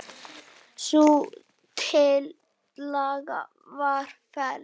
Sú tillaga var felld.